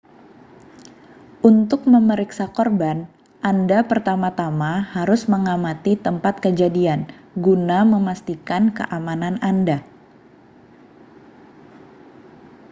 untuk memeriksa korban anda pertama-tama harus mengamati tempat kejadian guna memastikan keamanan anda